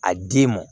A d'i ma